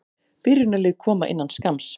Byrjunarlið koma innan skamms.